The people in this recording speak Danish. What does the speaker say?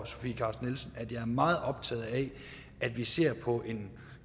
sofie carsten nielsen at jeg er meget optaget af at vi ser på en